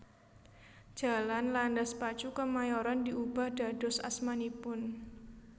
Jalan Landas Pacu Kemayoran diubah dados asmanipun